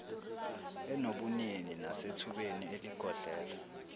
enobunini nasethubeni eligodlelwe